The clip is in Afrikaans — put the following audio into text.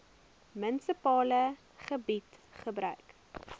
munisipale gebied gebruik